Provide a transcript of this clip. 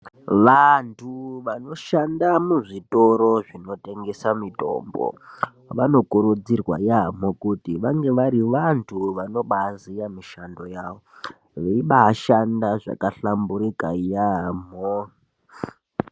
Vantu vanoshanda muzvitoro zvinotengesa mitombo, vanokurudzirwa yamho kuti vange vari vantu vanobaziya mishando yavo, veyibaashanda zvakahlamburika yamho.